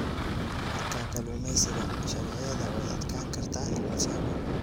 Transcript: Marka kalluumeysiga, sharciyada way adkaan kartaa in la fahmo.